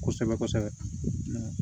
Kosɛbɛ kosɛbɛ